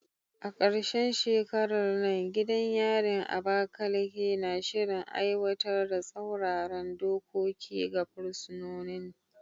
A karshen shekarar nan, gidan yarin Abakaleke na shirin aiwatar da tsauraran dokoki ga fursunonin.